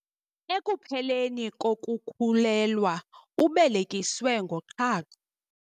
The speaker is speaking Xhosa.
Ekupheleni kokukhulelwa ubelekiswe ngoqhaqho.